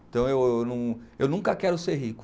Então, eu eu eu nun, eu nunca quero ser rico.